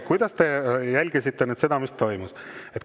Kas te nüüd jälgisite seda, mis toimus?